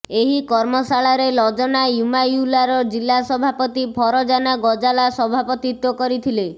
ଏହି କର୍ମଶାଳାରେ ଲଜନା ଇମାୟୁଲାର ଜିଲ୍ଲା ସଭାପତି ଫରଜାନା ଗଜାଲା ସଭାପତିତ୍ୱ କରିଥିଲେ